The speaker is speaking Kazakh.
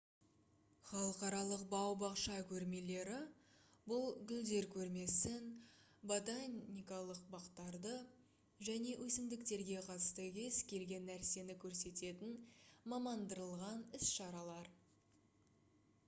халықаралық бау-бақша көрмелері бұл гүлдер көрмесін ботаникалық бақтарды және өсімдіктерге қатысты кез-келген нәрсені көрсететін мамандандырылған іс-шаралар